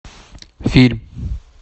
фильм